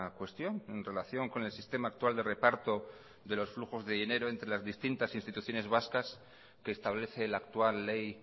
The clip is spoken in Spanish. cuestión en relación con el sistema actual de reparto de los flujos de dinero entre las distintas instituciones vascas que establece la actual ley